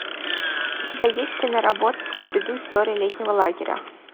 у тебя есть киноработа скуби ду история летнего лагеря